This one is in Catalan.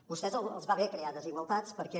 a vostès els va bé crear desigual·tats perquè